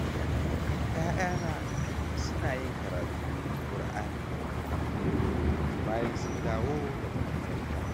Ya'yana suna yin karatun Kur'ani a kullum bayan sun da wo daga makaranta.